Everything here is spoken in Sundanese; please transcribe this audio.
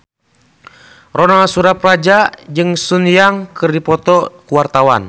Ronal Surapradja jeung Sun Yang keur dipoto ku wartawan